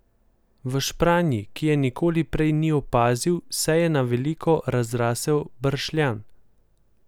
V špranji, ki je nikoli prej ni opazil, se je na veliko razrasel bršljan.